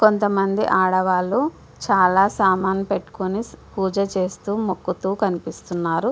కొంత మంది ఆడవాలు చాలా సమాలు పెట్టుకొని పూజ లు చేస్తున్నారు ముకుతు కనిపెస్తునది.